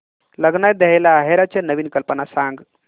लग्नात द्यायला आहेराच्या नवीन कल्पना सांग